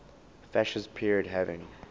fascist period having